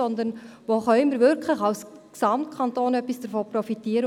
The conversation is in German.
Sondern wo können wir als Gesamtkanton wirklich etwas davon profitieren?